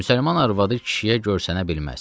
Müsəlman arvadı kişiyə görsənə bilməz.